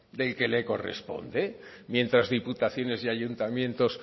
del que le corresponde mientras diputaciones y ayuntamientos